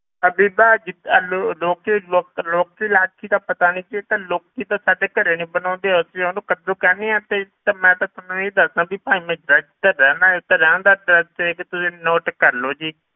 ਇਹ ਬੀਬਾ ਜੀ ਇਹ ਲੋ~ ਲੋਕੀ ਲੋਕ ਲੋਕਸੀ ਲੈਕਸੀ ਤਾਂ ਪਤਾ ਨੀ ਜੀ ਤੇ ਲੌਕੀ ਤਾਂ ਸਾਡੇ ਘਰੇ ਨੀ ਬਣਾਉਂਦੇ ਅਸੀਂ ਉਹਨੂੰ ਕੱਦੂ ਕਹਿੰਦੇ ਹਾਂ ਤੇ ਤੇ ਮੈਂ ਤੇ ਤੁਹਾਨੂੰ ਇਹ ਦੱਸਦਾਂ ਵੀ ਭਾਈ ਮੈਂ address ਤੇ ਰਹਿਨਾ ਤੇ ਰਹਿਣ ਦਾ address ਤੇ ਤੁਸੀਂ note ਕਰ ਲਓ ਜੀ